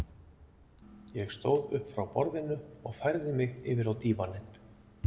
Ég stóð upp frá borðinu og færði mig yfir á dívaninn.